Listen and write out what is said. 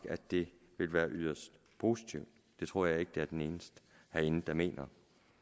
at det vil være yderst positivt det tror jeg ikke jeg er den eneste herinde der mener